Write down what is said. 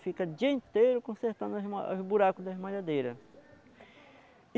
Fica dia inteiro consertando a esma os buraco da esmalhadeira.